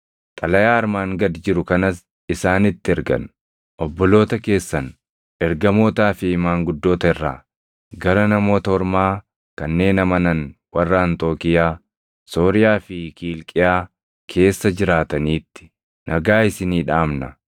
Xalayaa armaan gad jiru kanas isaanitti ergan: Obboloota keessan, ergamootaa fi maanguddoota irraa; Gara Namoota Ormaa kanneen amanan warra Anxookiiyaa, Sooriyaa fi Kiilqiyaa keessa jiraataniitti; Nagaa isinii dhaamna.